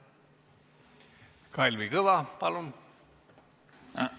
Kalvi Kõva, palun!